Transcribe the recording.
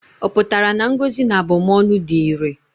Ọ pụtara na ngọzi na abụmọnụ dị irè?